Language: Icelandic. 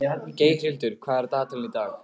Geirhildur, hvað er á dagatalinu í dag?